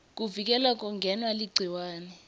kuvikela kungenwa ligciwane